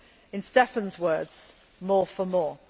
In Stefan's words more for more'.